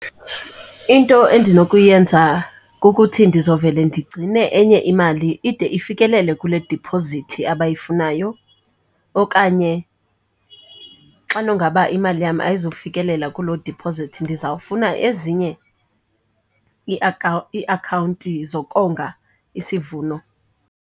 Into endinokuyenza kukuthi ndizovele ndigcine enye imali ide ifikelele kule diphozithi abayifunayo, okanye xana ongaba imali yam ayizufikelela kuloo dipozithi ndizawufuna ezinye iiakhawunti zokonga isivuno.